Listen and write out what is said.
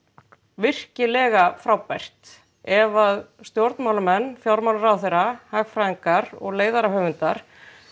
virkilega frábært ef stjórnmálamenn fjármálaráðherra hagfræðingar og leiðarahöfundar